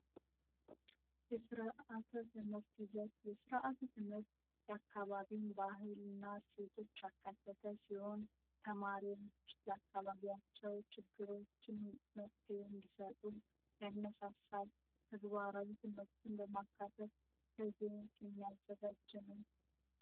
ስርዓተ ትምህርት የአካባቢ ባህልና እሴቶችን ያካተተ አካል ሲሆን ተማሪዎች ችግሮችን በቀላሉ ለመፍታት ያነሳሳል ተግባራዊ ትምህርት ይጨመርበታል።